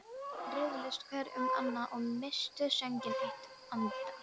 Menn riðluðust hver um annan og misstu sönginn eitt andartak.